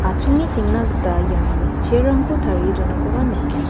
achonge sengna gita iano chair-rangko tarie donakoba nikgen.